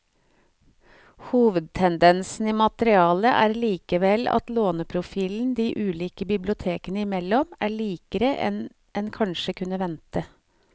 Hovedtendensen i materialet er likevel at låneprofilen de ulike bibliotekene imellom er likere enn en kanskje kunne vente.